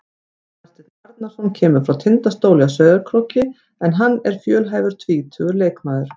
Aðalsteinn Arnarson kemur frá Tindastóli á Sauðárkróki en hann er fjölhæfur tvítugur leikmaður.